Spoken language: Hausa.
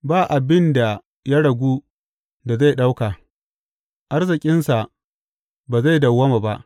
Ba abin da ya ragu da zai ɗauka; arzikinsa ba zai dawwama ba.